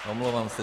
Omlouvám se.